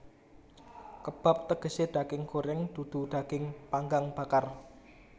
Kebab tegesé daging goreng dudu daging panggang bakar